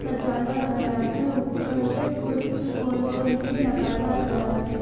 सजाया गया है ऊपर कुछ गोल-गोल भी लगाया गया है।